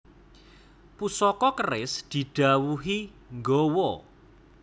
Pusaka keris didhawuhi nggawa